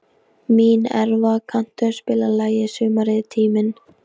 Mínerva, kanntu að spila lagið „Sumarið er tíminn“?